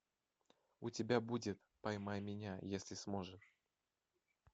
у тебя будет поймай меня если сможешь